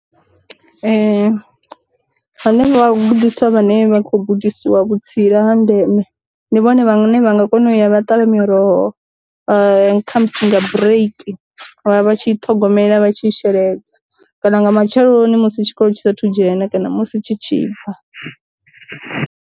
Hanevha vhagudiswa vhane vha kho gudisiwa vhutsila ha ndeme, ndi vhone vhane vha nga kona u ya vha ṱavha miroho khamusi nga bureiki vha vha tshi ṱhogomela vha tshi sheledza, kana nga matsheloni musi tshikolo tshi sathu dzhena kana musi tshi tshi bva.